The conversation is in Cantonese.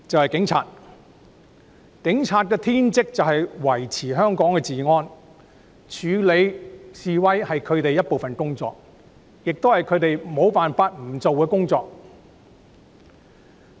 警察的天職是維持香港治安，處理示威是他們工作的一部分，是不能推卸的責任。